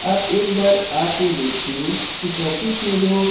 आप एक बार आ के देखिए इस ऑफिस में जो--